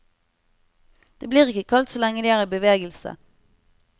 Det blir ikke kaldt så lenge de er i bevegelse.